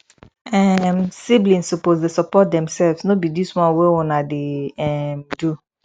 um siblings suppose dey support demselves no be dis one wey una dey um do